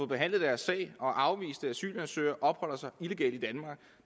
behandlet deres sag er afviste asylansøgere og opholder sig illegalt